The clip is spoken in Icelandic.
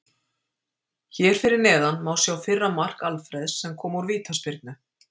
Hér fyrir neðan má sjá fyrra mark Alfreðs sem kom úr vítaspyrnu.